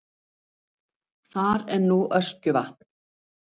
Þar en nú Öskjuvatn.